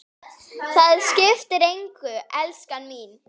Það skiptir engu, elskan mín.